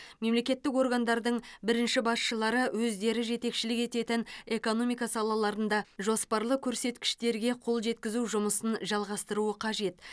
мемлекеттік органдардың бірінші басшылары өздері жетекшілік ететін экономика салаларында жоспарлы көрсеткіштерге қол жеткізу жұмысын жалғастыруы қажет